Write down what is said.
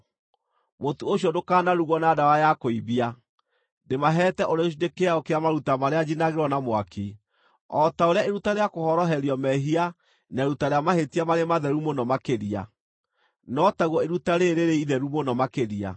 Mũtu ũcio ndũkanarugwo na ndawa ya kũimbia; ndĩmaheete ũrĩ gĩcunjĩ kĩao kĩa maruta marĩa njinagĩrwo na mwaki. O ta ũrĩa iruta rĩa kũhoroherio mehia na iruta rĩa mahĩtia marĩ matheru mũno makĩria, no taguo iruta rĩĩrĩ rĩrĩ itheru mũno makĩria.